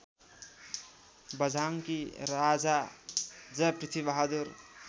बझाङ्गी राजा जयपृथ्वीबहादुर